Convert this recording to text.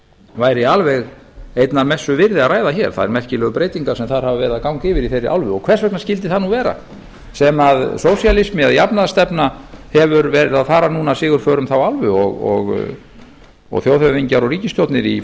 væri alveg einnar messu virði að ræða hér þær merkilegu breytingar sem þar hafa verið að ganga yfir í þeirri álfu og hvers vegna skyldi það nú vera sem sósíalismi eða jafnaðarstefna hefur verið að fara núna sigurför um þá álfu og þjóðhöfðingjar og ríkisstjórnir í